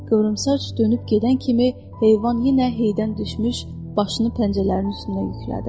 Qıvrımsaç dönüb gedən kimi heyvan yenə heydən düşmüş başını pəncələrin üstünə yüklədi.